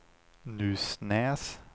Nusnäs